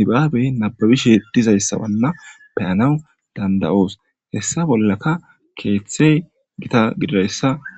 nubabbe nababe bolla dizaysata bea'naw dandai'shin hesa keththe gitta gididaysa besess